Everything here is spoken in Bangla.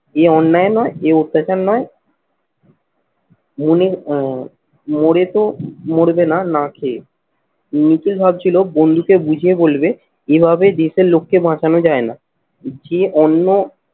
এ অন্যায় নয়? এ অত্যাচার নয়? মনে আহ মরে তো মরবে না, না খেয়ে। নিখিল ভাবছিল বন্ধুকে বুঝিয়ে বলবে এভাবে দেশের লোককে বাঁচানো যায় না। যে অন্য